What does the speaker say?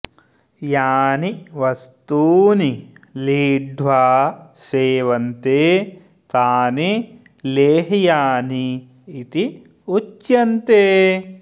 यानि वस्तूनि लीढ्वा सेवन्ते तानि लेह्यानि इति उच्यन्ते